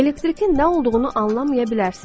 Elektrikin nə olduğunu anlamaya bilərsiniz.